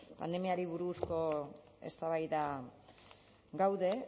pandemiari buruzko eztabaidan gaude